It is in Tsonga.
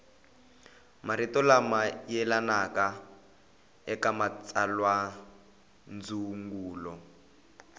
marito lama yelanaka eka matsalwandzungulo